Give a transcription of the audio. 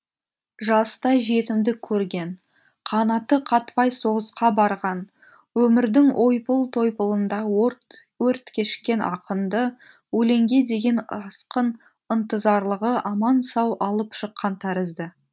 жастай жетімдік көрген қанаты қатпай соғысқа барған өмірдің ойпыл тойпылында өрт кешкен ақынды өлеңге деген асқын ынтызарлығы аман сау алып шыққан тәрізді